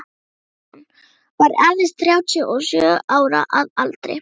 Kristján var aðeins þrjátíu og sjö ára að aldri.